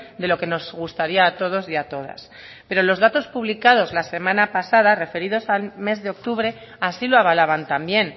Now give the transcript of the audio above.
de lo que nos gustaría a todos y a todas pero los datos publicados la semana pasada referidos al mes de octubre así lo avalaban también